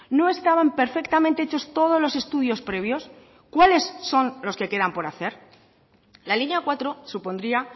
no estaban perfectamente hechos todos los estudios previos cuáles son los que quedan por hacer la línea cuatro supondría